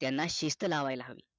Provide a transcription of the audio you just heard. त्यांना शिस्त लावायला हवी